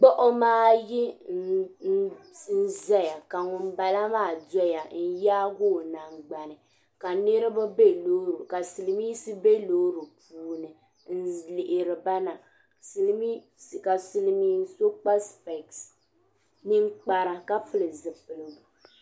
Gbuɣuma. ayi n ʒaya ka ŋun bala maa doya. n yaagi ɔ man gbani ka sili miinsi be lɔɔri puuni n lihiri ba na ka silimiinsi kpa spese ninkpara ka piɛli zipili gu